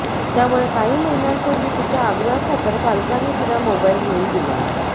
त्यामुळे काही महिन्यांपूर्वी तिच्या आग्रहखातर पालकांनी तिला मोबाईल घेऊ दिला